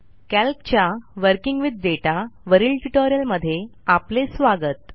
कॅल्कच्या working with data वरील tutorial मध्ये आपले स्वागत